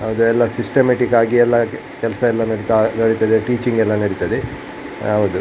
ಹೌದು ಎಲ್ಲ ಸಿಸ್ಟಮ್ಯಾಟಿಕ್ ಆಗಿ ಎಲ್ಲ ಕೆಲಸ ಎಲ್ಲ ನಡೀತದೆ ಟೀಚಿಂಗ್ ಎಲ್ಲ ನಡೀತದೆ ಹೌದು --